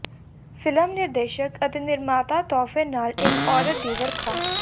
film ਨਿਰਦੇਸ਼ਕ ਅਤੇ ਨਿਰਮਾਤਾ ਤੋਹਫ਼ੇ ਨਾਲ ਇੱਕ ਔਰਤ ਦੀ ਵਰਖਾ